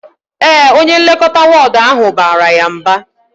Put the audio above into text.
Ee, onye nlekọta wọọdụ ahụ bara ya mba